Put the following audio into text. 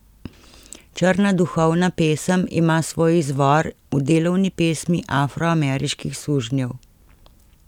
Črnska duhovna pesem ima svoj izvor v delovni pesmi afroameriških sužnjev.